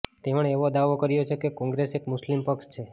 તેમણે એવો દાવો કર્યો છે કે કોંગ્રેસ એક મુસ્લિમ પક્ષ છે